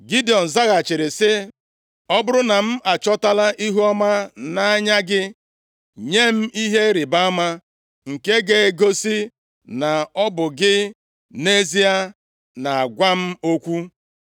Gidiọn zaghachiri sị, “Ọ bụrụ na m achọtala ihuọma nʼanya gị, nye m ihe ịrịbama nke ga-egosi na ọ bụ gị nʼezie na-agwa m okwu.